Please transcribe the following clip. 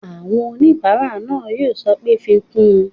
Àwọn oníbàárà náà yóò sọ pé "fi kún un!"